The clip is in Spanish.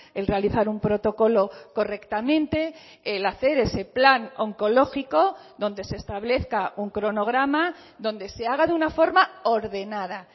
el realizar un protocolo correctamente el hacer ese plan oncológico donde se establezca un cronograma donde se haga de una forma ordenada